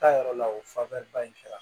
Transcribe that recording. Taayɔrɔ la o fanfɛ ba in kɛra